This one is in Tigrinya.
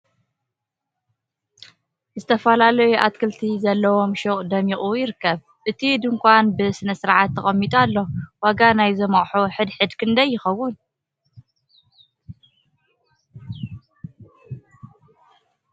ዝተፈላለየ ኣትክልቲ ዘለውዎ ሹቅ ደሚቁ ይርከብ ። እቲ ድንካን ብ ስነስርዓት ተቀሚጡ ኣሎ ። ዋጋ ናይዞም ኣቅሑት ሕድ ሕድ ክንደይ ይከውን ።